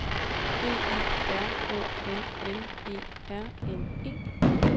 B I R O L L E R N E